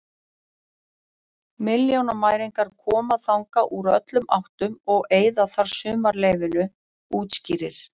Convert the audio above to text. Milljónamæringar koma þangað úr öllum áttum og eyða þar sumarleyfinu, útskýrir